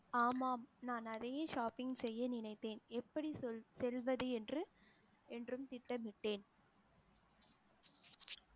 ஆமாம் நான் நிறைய shopping செய்ய நினைத்தேன், எப்படி சொல் செல்வது என்று என்றும் திட்டமிட்டேன்